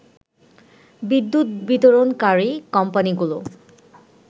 বিদ্যুৎ বিতরণকারী কোম্পানিগুলো